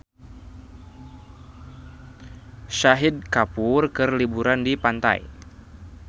Shahid Kapoor keur liburan di pantai